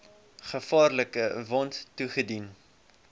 gevaarlike wond toegedien